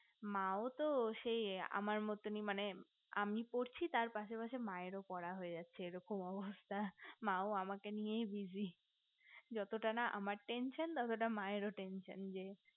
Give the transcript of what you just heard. মাও তো সেই আমার মতোনি মানে আমি পড়ছি তার পাশে পাশে মায়ের ও পড়া হয়ে যাচ্ছে এরকম অবস্থা মা ও আমাকে নিয়ে busy যতটা না আমার tension ততটা মায়ের ও tension যে